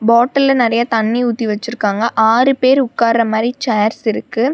பாட்டில்ல நெறைய தண்ணி ஊத்தி வெச்சிருக்காங்க ஆறு பேர் உக்கார்ர மாரி சேர்ஸ் இருக்கு.